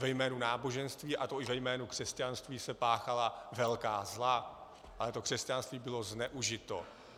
Ve jménu náboženství, a to i ve jménu křesťanství, se páchala velká zla, ale to křesťanství bylo zneužito.